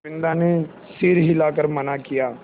बिन्दा ने सर हिला कर मना किया